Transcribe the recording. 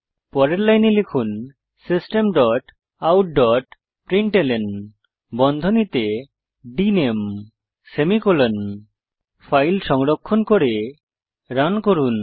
পরের লাইনে লিখুন system dot out dot println বন্ধনীতে ডিএনএমই সেমিকোলন ফাইল সংরক্ষণ করে রান করুন